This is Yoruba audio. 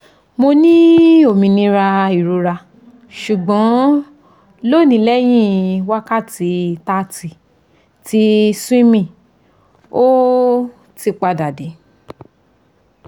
mo ni ominira irora sugbon lonilehin wakati thirty ti swimming o ti pada de